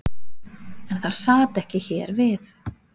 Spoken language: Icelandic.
En það sat ekki hér við.